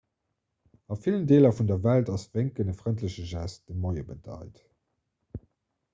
a villen deeler vun der welt ass wénken e frëndleche gest dee moie bedeit